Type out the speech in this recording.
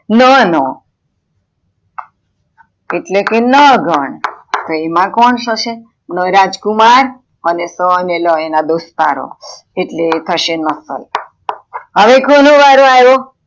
ના નો , એટલે કે ન ગણ એમાં કોણ થશે ન રાજકુમાર અને સ અને લ એના દોસ્તારો એટલે થશે નસલ, હવે કોનો વારો આવ્યો